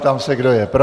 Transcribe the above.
Ptám se, kdo je pro.